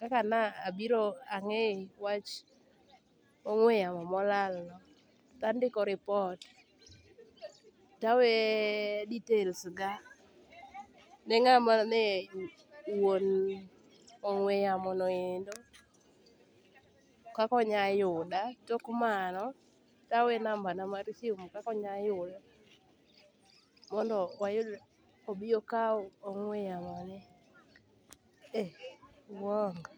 kaka nabiro ang'e wach ong'we yamo molano to andiko report tawe detailsga ne ng'ama ne wuon ong'we yamono endo kaka onya yuda. Tok mano tawe nambana mar simu kaka onya yuda mondo wayudre mondo obi okaw ong'we yamone e uwongo.